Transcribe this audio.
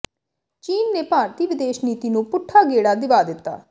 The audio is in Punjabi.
ਚੀਨ ਨੇ ਭਾਰਤੀ ਵਿਦੇਸ਼ ਨੀਤੀ ਨੂੰ ਪੁੱਠਾ ਗੇੜਾ ਦਿਵਾ ਦਿਤਾ